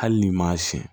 Hali n'i m'a siyɛn